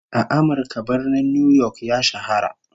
A Amirka, Birnin New York ya shahara